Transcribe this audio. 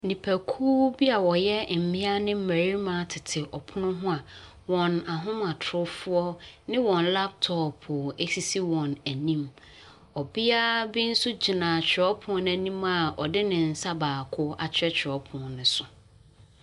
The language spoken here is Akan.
Nnipakuo bi a wɔyɛ mmea ne mmarima tete ɔpono ho a hɔn ahomatrofoɔ ne wɔn laptop sisi wɔn anim. Ɔbea bi nso gyina twerɛwpono anim a ɔde ne nsa baako atwerɛtwerɛw pono ne so.